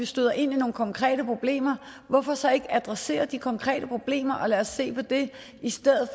støder ind i nogle konkrete problemer hvorfor så ikke adressere de konkrete problemer og lade os se på det i stedet